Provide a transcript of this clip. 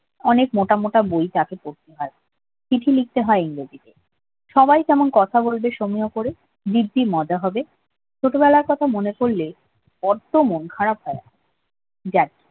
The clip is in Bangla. অনেক মোটা মোটা বই তাকে পড়তে হয় চিঠি লিখতে হয় ইংরেজিতে সবাই কেমন কথা বলবে করে দিব্যি মজা হবে ছোটবেলার কথা মনে পড়লে বড্ড মন খারাপ হয় যাক